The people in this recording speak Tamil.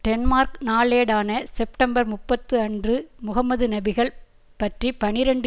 டென்மார்க் நாளேடான செப்டம்பர் முப்பத்து அன்று முகம்மது நபிகள் பற்றி பனிரண்டு